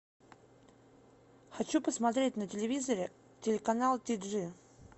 хочу посмотреть на телевизоре телеканал ти джи